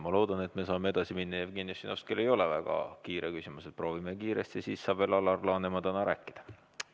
Ma loodan, et me saame edasi minna, et Jevgeni Ossinovskil ei ole väga küsimus, proovime kiiresti, siis saab veel Alar Laneman täna rääkida.